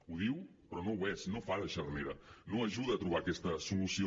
ho diu però no ho és no fa de xarnera no ajuda a trobar aquesta solució